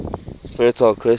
fertile crescent